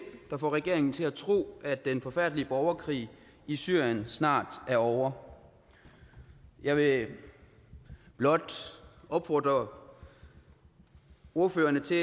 der får regeringen til at tro at den forfærdelige borgerkrig i syrien snart er ovre jeg vil blot opfordre ordførerne til